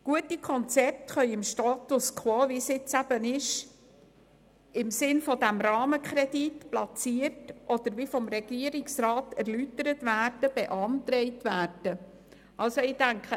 Gute Konzepte können heute, so wie es jetzt eben ist, im Sinn des Rahmenkredits platziert oder – wie vom Regierungsrat erläutert – beantragt werden.